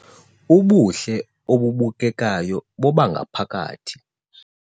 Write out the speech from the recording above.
Ubuhle obubukekayo bobangaphakathi